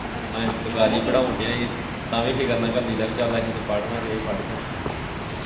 ਅਸੀਂ ਸਰਕਾਰੀ ਪੜਾਣ ਦੇ ਤਾਂ ਵੀ ਫਿਕਰ ਨਾਲ ਕੱਲੀ ਦਾ ਪੀ ਚੱਲ ਅਸੀਂ ਇੰਨੇ ਪੜੇ ਨੀ ਇਹ ਪੜ ਜਾਣ।